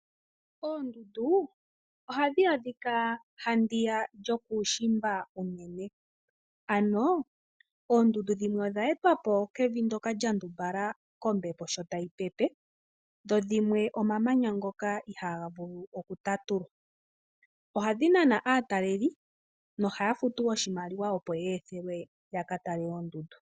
Ondundu ohadhi adhika ha ndiya ka lyuushimba, ano oondundu dhimwe odha etwa po kombepo sho tayi pepe ndho dhimwe omamanya ngoka ihaaga vulu okutatulwa. Ohadhi nana aataleli no haya futu oshimaliwa opo ya pitikwe ya ka tale oondundu.